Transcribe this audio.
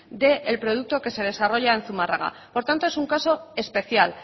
del producto que se desarrolla en zumarraga por tanto es un caso especial